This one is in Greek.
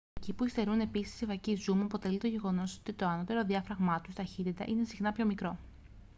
εκεί που υστερούν επίσης οι φακοί zoom αποτελεί το γεγονός ότι το ανώτερο διάφραγμά τους ταχύτητα είναι συχνά πιο μικρό